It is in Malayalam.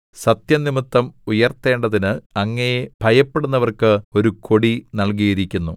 സത്യംനിമിത്തം ഉയർത്തേണ്ടതിന് അങ്ങയെ ഭയപ്പെടുന്നവര്‍ക്ക്‌ ഒരു കൊടി നല്കിയിരിക്കുന്നു സേലാ